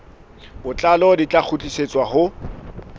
botlalo di tla kgutlisetswa ho